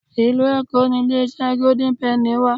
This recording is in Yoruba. Ìlú Èkó ni ilé iṣẹ́ Gódín Pẹ́nì wà.